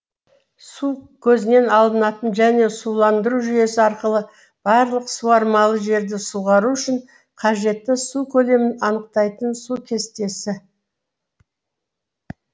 су көзінен алынатын және суландыру жүйесі арқылы барлық суармалы жерді суғару үшін қажетті су көлемін анықтайтын су кестесі